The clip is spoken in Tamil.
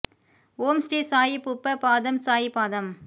ஓம் ஸ்ரீ சாயி புப்ப பாதம் சாயி பாதம்